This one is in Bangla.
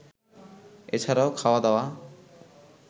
এছাড়াও, খাওয়া দাওয়া